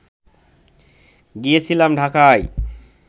গিয়েছিলাম ঢাকায়